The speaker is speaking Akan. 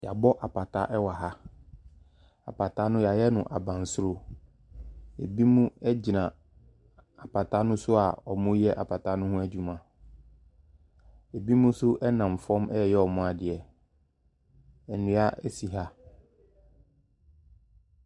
Yɛabɔ apata wɔ ha, apata no, yɛayɛ no abansoro. Binom gyina apata ne so a wɔreyɛ apata ne ho adwuma. Binom nso nam famu a wɔreyɛ wɔn adeɛ. Nnua si ha.